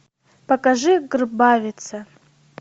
покажи грбавица